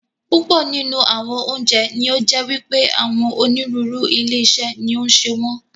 Púpọ̀ nínú àwọn oúnjẹ ní ó jẹ́ wípé àwọn onírúurú ilé-iṣé ni ó ń ṣe wọn.